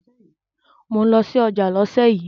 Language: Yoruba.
Mò ń lọ sí ọjà lọ́sẹ̀ yìí.